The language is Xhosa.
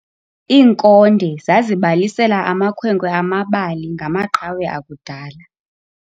Iinkonde zazibalisela amakhwenkwe amabali ngamaqhawe akudala.